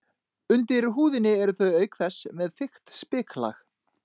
Undir húðinni eru þau auk þess með þykkt spiklag.